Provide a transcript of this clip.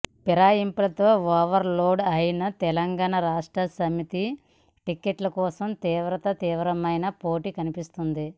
ఫిరాయింపులతో overload అయిన తెలంగాణ రాష్ట్ర సమితిలో టిక్కెట్ల కోసం తీవ్రాతీ తీవ్రమైన పోటీ కనిపిస్తోంది